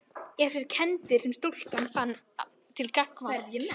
En þær kenndir sem stúlkan fann til gagnvart